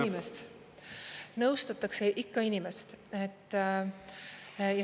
Ikka inimest, nõustatakse ikka inimest.